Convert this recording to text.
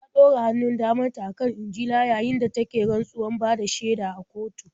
Ta ɗora hannun daman ta a kan Injila yayin da take rantsuwar bada shaida a kotu.